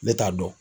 Ne t'a dɔn